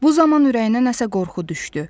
Bu zaman ürəyinə nəsə qorxu düşdü.